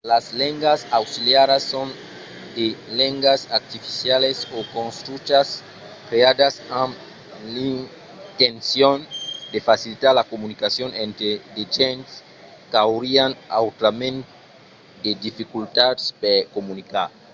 las lengas auxiliaras son de lengas artificialas o construchas creadas amb l'intencion de facilitar la comunicacion entre de gents qu’aurián autrament de dificultats per comunicar